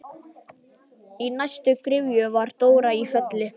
Í næstu gryfju var Dóra í Felli.